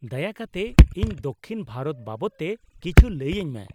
ᱫᱟᱭᱟ ᱠᱟᱛᱮ ᱤᱧ ᱫᱚᱠᱽᱠᱷᱤᱱ ᱵᱷᱟᱨᱚᱛ ᱵᱟᱵᱚᱛ ᱛᱮ ᱠᱤᱪᱷᱩ ᱞᱟᱹᱭ ᱟᱹᱧᱢᱮ ᱾